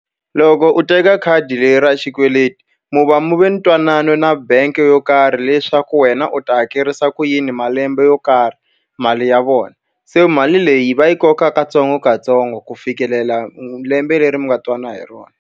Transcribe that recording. Loko u teka khadi leri ra xikweleti mi va mi ve na ntwanano na bangi yo karhi leswaku wena u ta hakerisa ku yini malembe yo karhi mali ya vona. Se mali leyi va yi kokaka katsongokatsongo ku fikelela lembe leri mi nga twanana hi rona.